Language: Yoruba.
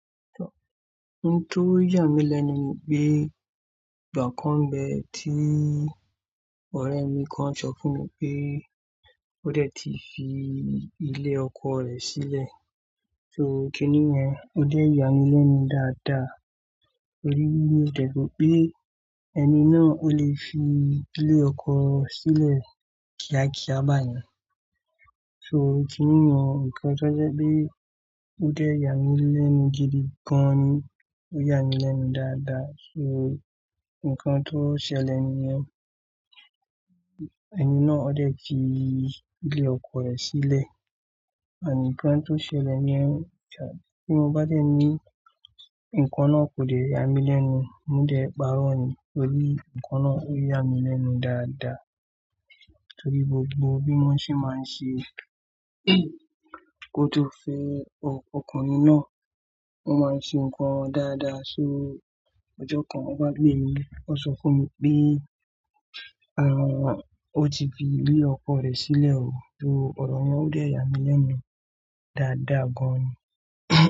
Ohun tó yàn mí lẹ́nu mi pé, ìgbà kan nbe ti ọ́rẹ́ mi kan sọ fún mi pé, o dé ti fi ilé ọkọ rẹ̀ sílè. So kiní yen, o dé yàn mí lẹ́nnu dáadáa. Oriírí o dé pé ẹni náà o le fi ilé ọkọ silè ki a ki a bá yẹn. So kiní yen nkan to sẹ́ pé o dé yàn mí lẹ́nnu gidi gan ni. O yàn mí lẹ́nnu dáadáa. So nkan to sẹ́lẹ̀ ni yẹn. Ẹni náà o dé ti ilé ọkọ rẹ̀ sílè. Àní nkan to sẹ́lẹ̀ ni ẹ. Tí mo bá dẹ́ ni, nkan náà kò dé yàn mí lẹ́nnu, mo dẹ́ paro ni. Oriírí nkan náà o yàn mí lẹ́nnu dáadáa. Nítorí gbogbo bí wọ́n se máa ń se kó tó fii ọkùnrin náà, wọ́n máa ń se nǹkan dáadáa. So ojó kan wọ́n bá gbẹ mi, wọ́n sọ fún mi pé, ààwọ̀ o ti fi ilé ọkọ rẹ̀ sílè o. So ọ̀rọ̀ yen o dé yà mí lẹ́nnu dáadáa gan ni.